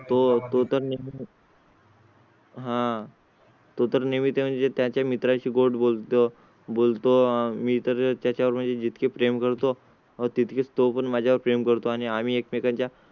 तो तर नेहमी हा तर नेहमी ती म्हणजे त्याच्या मित्रांची गोड बोलतो. बोलतो मी तर त्याच्या वर म्हणजे जित के प्रेम करतो तिथे असतो. पण माझ्या वर प्रेम करतो आणि आम्ही एकमेकांच्या